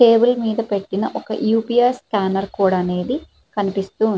Table మీద పెట్టిన ఒక యుపిఎస్ స్కానర్ కోడ్ అనేది కనిపిస్తుంది.